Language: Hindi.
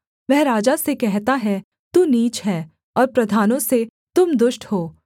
वह राजा से कहता है तू नीच है और प्रधानों से तुम दुष्ट हो